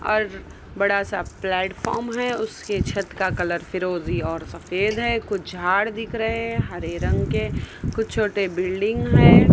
और बड़ा सा प्लेटफार्म है उसके छत का कलर फिरोजी और सफेद है कुछ झाड़ दिख रहे हैं हरे रंग के कुछ छोटे बिल्डिंग है।